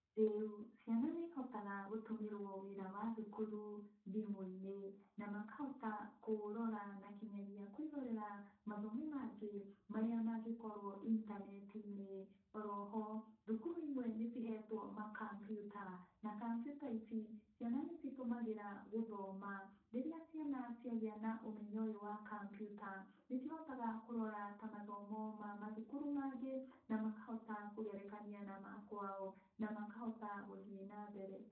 Rĩu ciana nĩihotaga gũtũmĩrwo wĩra wa thukũru thimũ-inĩ, na makahota kũũrora na kinyagia kwĩrorera mathomo mangĩ marĩa mangĩkorwo intaneti-inĩ. Oho, thukuru imwe nĩcihetwo makambiuta na kambiuta ici, ciana nĩcitũmagĩra gũthoma. Rĩrĩa ciana ciagĩa na ũmenyo wa kambiuta nĩcihotaga kũrora ta mathomo ma mathukuru mangĩ na makahota kũgerekania na makwao, na makahota gũthiĩ nambere.